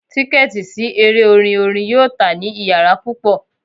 Tiketi si ere orin orin yoo ta ni iyara pupọ